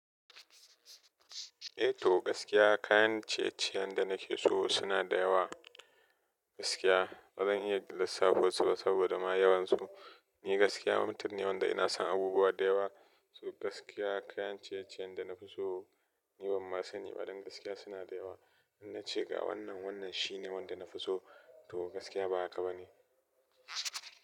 Eh to gaskiya kayan ciye-ciyen da nake so suna da yawa. Gaskiya bazan iya lissafo su ba saboda ma yawansu. Ni gaskiya mutum ne wanda ina son abubuwa da yawa. To gaskiya kayan ciye-ciyen da nafi so ni banma sani ba. Don gaskiya suna da yawa. Inna ce ga wannan, wannan shine wanda nafi so to gaskiya ba haka ba ne.